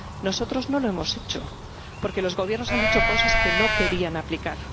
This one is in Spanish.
Nosotros no lo hemos hecho porque los Gobiernos han dicho cosas que no querían aplicar.